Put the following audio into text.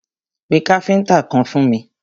Pé káfíntà kan fún mi!